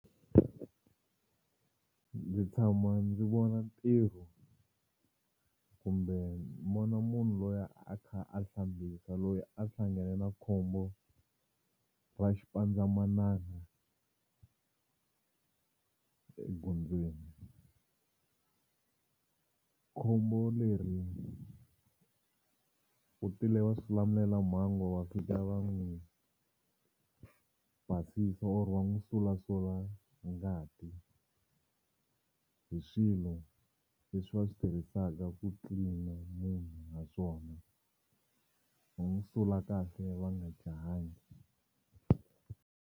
Ndzi tshama ndzi vona ntirho kumbe munhu loyi a kha a hlambisa loyi a hlangane na khombo ra xipandzamananga egondzweni. Khombo leri ku tile vaswilamulelamhangu va fika va n'wi basisa or va n'wi sulasula ngati hi swilo leswi va swi tirhisaka ku clean-a munhu naswona va n'wi sula kahle va nga jahangi.